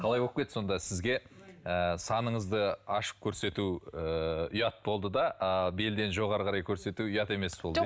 қалай боп кетті сонда сізге ыыы саныңызды ашып көрсету ыыы ұят болды да ыыы белден жоғары қарай көрсету ұят емес болды иә